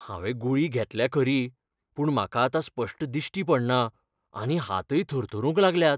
हांवें गुळी घेतल्या खरी, पूण म्हाका आतां स्पश्ट दिश्टी पडना आनी हातय थरथरूंक लागल्यात.